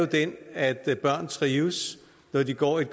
den at børn trives når de går i